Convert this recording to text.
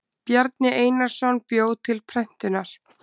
bjarni einarsson bjó til prentunar